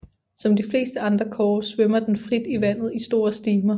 Som de fleste andre kårer svømmer den frit i vandet i store stimer